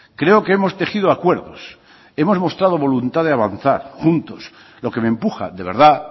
creo que hemos tejido acuerdos hemos mostrado voluntad de avanzar juntos lo que me empuja de verdad